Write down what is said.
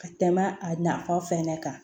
Ka tɛmɛ a nafa fɛnɛ kan